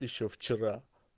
ещё вчера